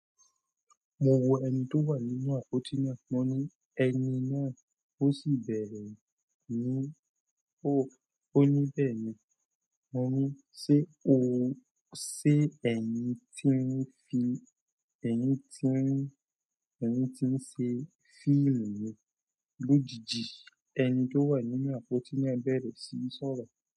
Mo wo ẹni tó wà nínú àpótí náà, mo ní ẹni náà ó sì bẹ̀rẹ̀ ní o, ó ní bẹ́ẹ̀ ni, mo ní ṣe o, ṣe ẹni tí ń fi, ẹni tí ń, ẹni tí ń ṣe fíìmù lójijì ẹni tó wà nínú àpótí náà bẹ̀rẹ̀ sí í sọ̀rọ̀.